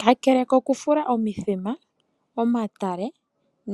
Kakele kokufula omithima, omatale,